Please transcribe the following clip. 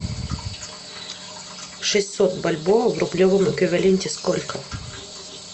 шестьсот бальбоа в рублевом эквиваленте сколько